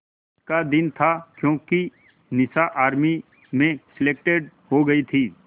का दिन था क्योंकि निशा आर्मी में सेलेक्टेड हो गई थी